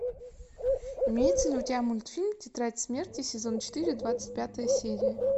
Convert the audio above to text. имеется ли у тебя мультфильм тетрадь смерти сезон четыре двадцать пятая серия